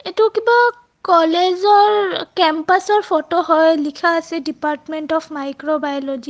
এইটো কিবা কলেজ ৰ কেম্পাচ ৰ ফোট হয়. লিখা আছে দিপৰ্টমেন্ত অ'ফ্ মাইক্ৰোবাইওলজি .